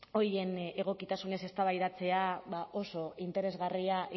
horien egokitasunez eztabaidatzea oso interesgarria